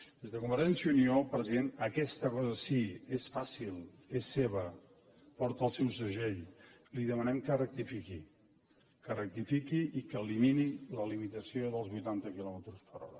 des de convergència i unió president aquesta cosa sí és fàcil és seva porta el seu segell li demanem que rectifiqui que rectifiqui i que elimini la limitació dels vuitanta quilòmetres per hora